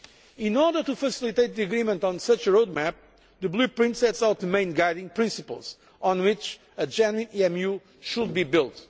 In order to facilitate agreement on such a roadmap, the Blueprint sets out the main guiding principles on which a genuine EMU should be built.